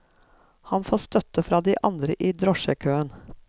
Han får støtte fra de andre i drosjekøen.